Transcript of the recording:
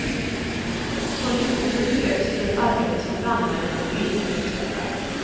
Konditionen behövs i det arbete som brandmännen och poliserna uträttar.